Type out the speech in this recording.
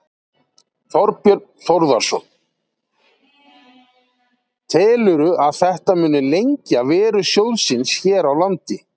Þorbjörn Þórðarson: Telurðu að þetta muni lengja veru sjóðsins hér á landi?